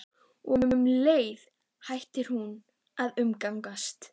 Og um leið hætti hún að umgangast